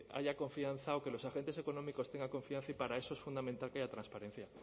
haya confianza o que los agentes económicos tengan confianza y para eso es fundamental que haya transparencia